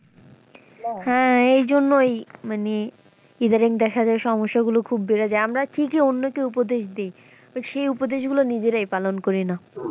হ্যাঁ এইজন্য ওই মানে ইদানিং দেখা যায় সমস্যা গুলো খুব বেড়ে যায় আমরা ঠিকই অন্যদের উপদেশ দেই but সেই উপদেশ গুলো নিজেরাই পালন করিনা।